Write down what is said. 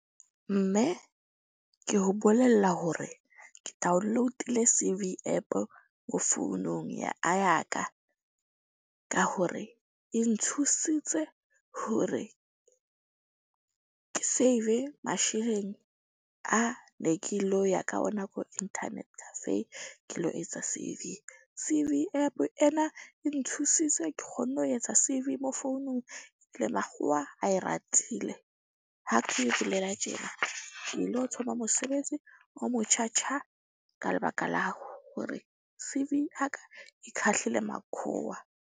Mme ke ho bolella hore ke download-ile C_V App-o mo founung ya ya ka. Ka hore e nthusitse hore ke save masheleng a ne ke lo ya ka ona ko internet cafe. Ke lo etsa C_V. C_V App ena e nthusitse ke kgonne ho etsa C_V mo founung le makgowa a e ratile. Ha ke bolela tjena ke lo tsoma mosebetsi o mo tjha tjha ka lebaka la hore C_V ya ka e khahlile makhowa.